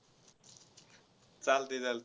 चालतंय चालत~